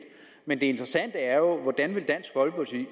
men det interessante er jo hvordan dansk folkeparti